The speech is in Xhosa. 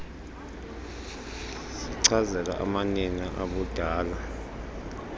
sichazela amanina abudala